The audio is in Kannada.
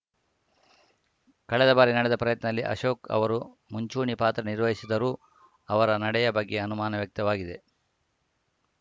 ಕಳೆದ ಬಾರಿ ನಡೆದ ಪ್ರಯತ್ನದಲ್ಲಿ ಅಶೋಕ್‌ ಅವರು ಮುಂಚೂಣಿ ಪಾತ್ರ ನಿರ್ವಹಿಸಿದರೂ ಅವರ ನಡೆಯ ಬಗ್ಗೆ ಅನುಮಾನ ವ್ಯಕ್ತವಾಗಿದೆ